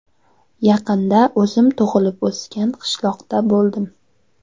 Yaqinda o‘zim tug‘ilib o‘sgan qishloqda bo‘ldim.